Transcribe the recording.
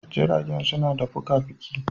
Jirage suna da fuka-fuki